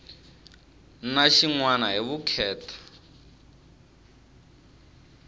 na xin wana hi vukheta